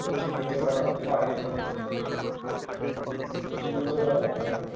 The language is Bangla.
চিহ্নিত করা হয় চিহ্নিত করা হয়